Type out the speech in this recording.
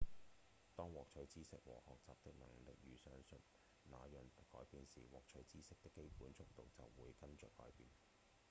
當獲取知識和學習的能力如上所述那樣改變時獲取知識的基本速率就會跟著改變